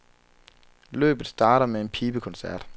Løbet starter med en pibekoncert.